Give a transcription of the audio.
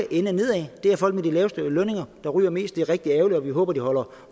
ende nedad det er folk med de laveste lønninger der ryger mest og det er rigtig ærgerligt og vi håber de holder